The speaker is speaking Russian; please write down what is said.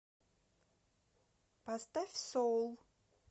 поставь соул